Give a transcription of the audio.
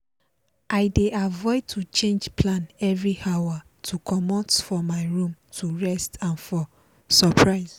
i dey avoid to change plan every hour to comot for my room to rest and for surprise.